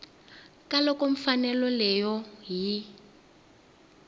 ka loko mfanelo yoleyo yi